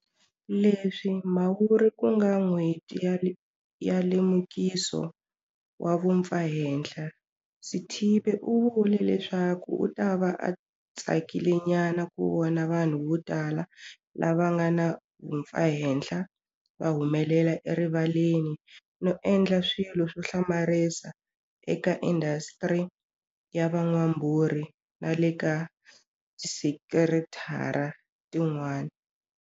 Leswi Mhawuri ku nga N'hweti ya Lemukiso wa Vumpfahenhla, Sithibe u vule leswaku u ta va a tsakilenyana ku vona vanhu votala lava nga na vumpfahenhla va humelela erivaleni no endla swilo swo hlamarisa eka indhasitiri ya van'wambhurhi na le ka tisekithara tin'wana.